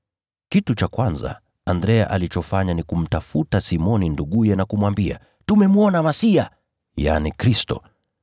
Kitu cha kwanza Andrea alichofanya ni kumtafuta Simoni nduguye na kumwambia, “Tumemwona Masiya” (yaani, Kristo).